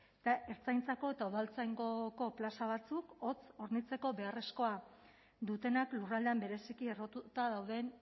eta ertzaintzako eta udaltzaingoko plaza batzuk hots hornitzeko beharrezkoa dutenak lurraldean bereziki errotuta dauden